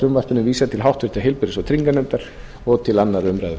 frumvarpinu verði vísað til háttvirtrar heilbrigðis og trygginganefndar og til annarrar umræðu